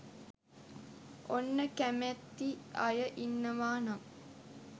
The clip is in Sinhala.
ඔන්න කැමෙති අය ඉන්නවා නම්